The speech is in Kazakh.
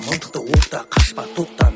мылтықты оқта қашпа тоқта